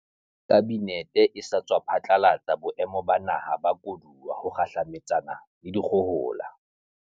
Kabinete e sa tswa phatlalatsa Boemo ba Naha ba Koduwa ho kgahlametsana le dikgohola.